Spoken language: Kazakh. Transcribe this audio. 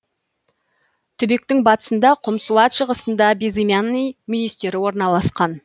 түбектің батысында құмсуат шығысында безымянный мүйістері орналасқан